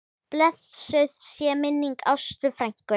Blessuð sé minning Ástu frænku.